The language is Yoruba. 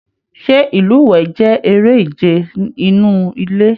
Ṣe ilúwẹ jẹ èrè ìje inú ilé?